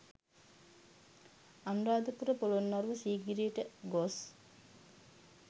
අනුරාධපුර පොලොන්නරුව සීගිරියට ගොස්